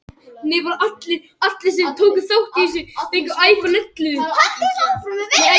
Ferill skuggans sem fellur á jörðu mun liggja yfir vestanvert Ísland.